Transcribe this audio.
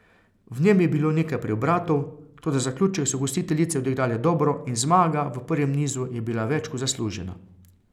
V njem je bilo nekaj preobratov, toda zaključek so gostiteljice odigrale dobro in zmaga v prvem nizu je bila več kot zaslužena.